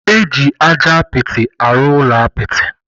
Eji ájá apịtị arụ ụlọ apịtị.